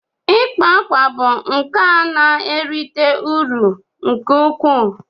ikpa akwa bụ nka na-erite uru nke ukwuu